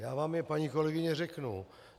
Já vám je, paní kolegyně, řeknu.